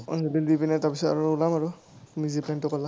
অঞ্জলি দি পেনাই তাৰপিছত আৰু ওলাম আৰু তুমি যি plan টো ক’লা।